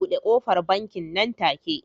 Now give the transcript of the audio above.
Bude kofar bankin nan take